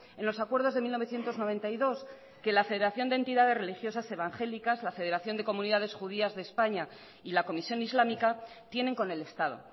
en los acuerdos de mil novecientos noventa y dos que la federación de entidades religiosas evangélicas la federación de comunidades judías de españa y la comisión islámica tienen con el estado